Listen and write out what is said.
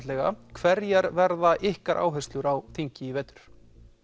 hverjar verða ykkar áherslur á þingi í vetur